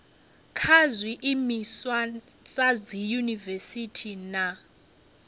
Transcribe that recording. kha zwiimiswa sa dziyunivesiti na